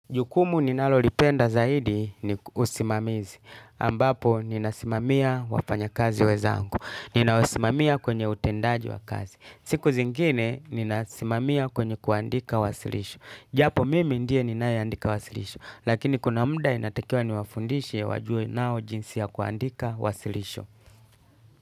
Jukumu ninalolipenda zaidi ni usimamizi, ambapo ninasimamia wafanya kazi wezangu, ninawasimamia kwenye utendaji wa kazi, siku zingine ninasimamia kwenye kuandika wasilisho, japo mimi ndie ninaye andika wasilisho, lakini kuna muda inatakiwa niwafundishe wajue nao jinsi ya kuandika wasilisho.